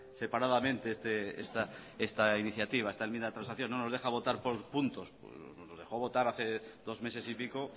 separadamente esta iniciativa esta enmienda de transacción no nos deja votar por puntos nos dejó votar hace dos meses y pico